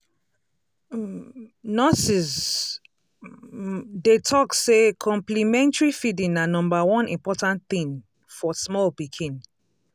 um nurses um dey talk say complementary feeding na number one important thing for small pikin.